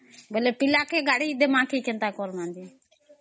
ବେଳେ ପିଲାକୁ ଗାଡି ଦିମା କି କେନ୍ତା କରମା ଯେ